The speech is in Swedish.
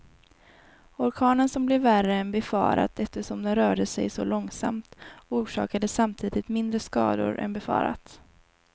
Orkanen som blev värre än befarat eftersom den rörde sig så långsamt, orsakade samtidigt mindre skador än befarat.